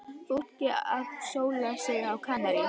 Fólkið að sóla sig á Kanarí.